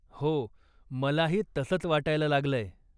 हो. मलाही तसंच वाटायला लागलंय.